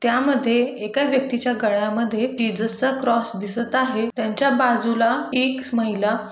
त्या मध्ये एका व्यक्तीच्या गळ्या मध्ये जिसेसच क्रॉस दिसत आहे त्यांच्या बाजूला एक महिला--